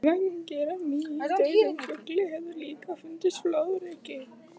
Vængir af nýdauðum fugli höfðu líka fundist flóðreki.